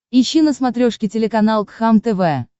ищи на смотрешке телеканал кхлм тв